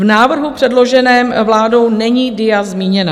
V návrhu předloženém vládou není DIA zmíněna.